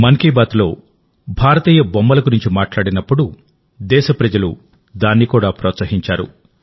మన్ కీ బాత్లో భారతీయ బొమ్మల గురించి మాట్లాడినప్పుడుదేశ ప్రజలు దాన్ని కూడా ప్రోత్సహించారు